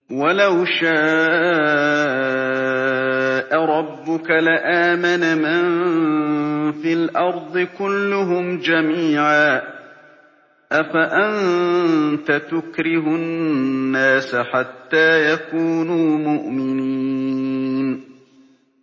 وَلَوْ شَاءَ رَبُّكَ لَآمَنَ مَن فِي الْأَرْضِ كُلُّهُمْ جَمِيعًا ۚ أَفَأَنتَ تُكْرِهُ النَّاسَ حَتَّىٰ يَكُونُوا مُؤْمِنِينَ